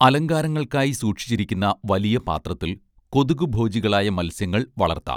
അലങ്കാരങ്ങൾക്കായി സൂക്ഷിച്ചിരിക്കുന്ന വലിയ പാത്രത്തിൽ കൊതുകുഭോജികളായ മൽസ്യങ്ങൾ വളർത്താം